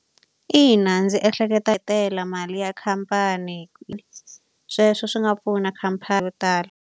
Ina ndzi ehleketa hi tele mali ya khampani . Sweswo swi nga pfuna khampani yo tala.